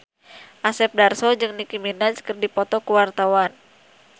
Asep Darso jeung Nicky Minaj keur dipoto ku wartawan